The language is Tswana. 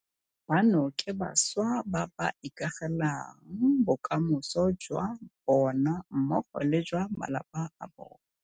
Bano ke bašwa ba ba ikagelang bokamoso jwa bona mmogo le jwa ba malapa a bona.